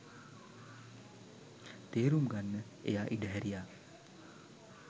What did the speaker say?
තේරුම් ගන්න එයා ඉඩහැරියා.